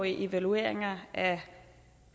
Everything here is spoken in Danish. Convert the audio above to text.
evalueringer af